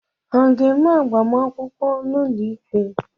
Ha ga-eme agbamakwụkwọ n'ụlọ ikpe?